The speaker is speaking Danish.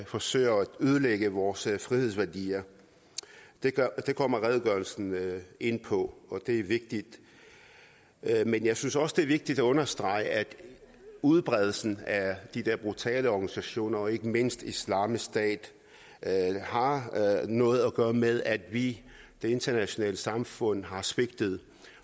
forsøger at ødelægge vores frihedsværdier det kommer redegørelsen ind på og det er vigtigt men jeg synes også det er vigtigt at understrege at udbredelsen af de der brutale organisationer og ikke mindst islamisk stat har noget at gøre med at vi det internationale samfund har svigtet